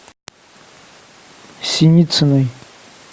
синициной